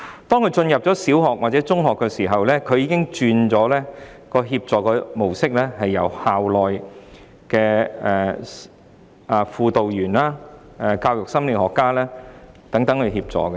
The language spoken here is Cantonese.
當他入讀小學或中學，協助模式已經改為由校內的輔導員、教育心理學家等提供協助。